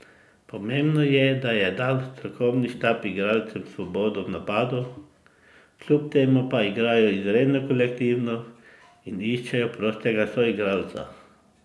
Pomembno je, da je dal strokovni štab igralcem svobodo v napadu, kljub temu pa igrajo izredno kolektivno in iščejo prostega soigralca.